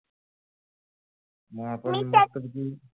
म आपण म कधी घेऊ मी छान